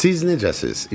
Siz necəsiz?